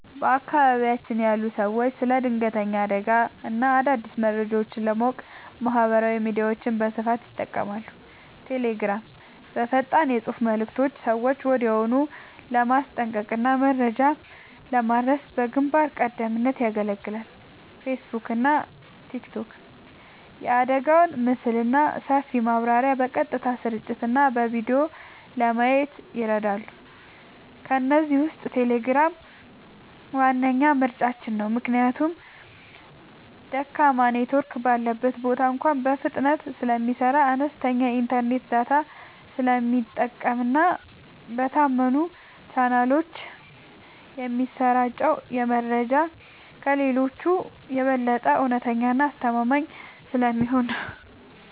በአካባቢያችን ያሉ ሰዎች ስለ ድንገተኛ አደጋዎችና አዳዲስ መረጃዎች ለማወቅ ማህበራዊ ሚዲያዎችን በስፋት ይጠቀማሉ። ቴሌግራም፦ በፈጣን የፅሁፍ መልዕክቶች ሰዎችን ወዲያውኑ ለማስጠንቀቅና መረጃ ለማድረስ በግንባር ቀደምትነት ያገለግላል። ፌስቡክና ቲክቶክ፦ የአደጋውን ምስልና ሰፊ ማብራሪያ በቀጥታ ስርጭትና በቪዲዮ ለማየት ይረዳሉ። ከእነዚህ ውስጥ ቴሌግራም ዋነኛ ምርጫችን ነው። ምክንያቱም ደካማ ኔትወርክ ባለበት ቦታ እንኳ በፍጥነት ስለሚሰራ፣ አነስተኛ የኢንተርኔት ዳታ ስለሚጠቀምና በታመኑ ቻናሎች የሚሰራጨው መረጃ ከሌሎቹ የበለጠ እውነተኛና አስተማማኝ ስለሚሆን ነው።